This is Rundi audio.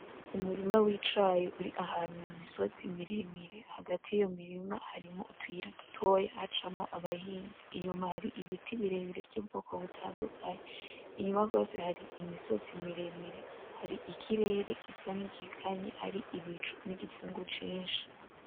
Umurima w'icayi ur'ahantu mu misozi miremire, hagati y'iyo mirima harimwo utuyira dutoya hacamwo abahinzi. Inyuma har' ibiti birebire vy'ubwoko butandukanye. Inyuma gose har' imisozi miremire har' ikirere gisa nk'igikanye har' ibicu nig'ipfungu cinshi.